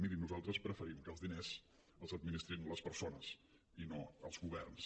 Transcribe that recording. miri nosaltres preferim que els diners els administrin les persones i no els governs